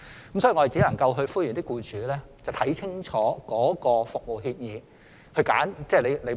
所以，我們只能夠呼籲僱主看清楚服務協議後才揀選職業介紹所。